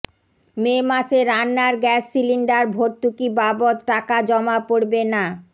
মে মাসে রান্নার gas cylinder ভর্তুকি বাবদ টাকা জমা পড়বে না